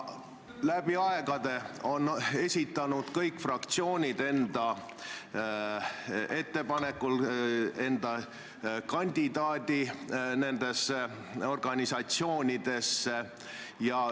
Läbi aegade on kõik fraktsioonid esitanud enda kandidaadi nendesse organisatsioonidesse.